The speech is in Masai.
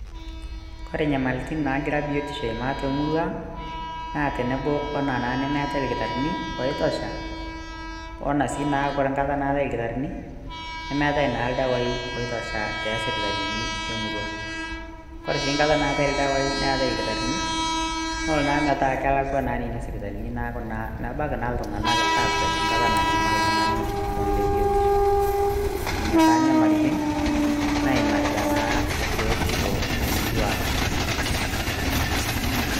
kore nyamalitin nagira biotisho aimaa temurua ang naa tenebo wena naa nemetae irkitarrini oitosha ona sii naa ore nkata natae irkitarrini nemeetae naa ildawai oitosha teasipitalini emurua kore sii nkata naatae ildawai neetai ilkitarrini nolo naa metaa kelakua naa nina sipitalini naaku naa mebaki naa iltung'anak akwet nkata nanyamal iltung'ani lomon le biotisho nenia taa nyamalitin naimarita naa biotisho temurua ang.